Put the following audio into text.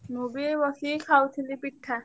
ମୁଁ ବି ଏଇ ବସିକି ଖାଉଥିଲି ପିଠା।